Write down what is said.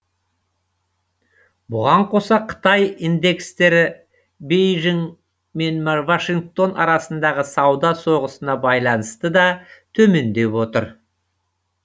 бұған қоса қытай индекстері бейжің мен вашингтон арасындағы сауда соғысына байланысты да төмендеп отыр